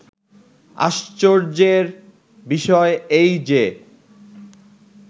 "আশ্চর্য্যের বিষয় এই যে